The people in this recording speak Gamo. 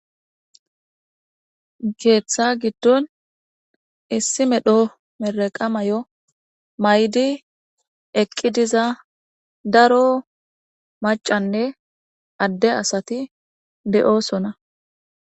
Keeththa giddon issi medho meraqa mayo maydi eqqi diza daro macanne adde asati de7osona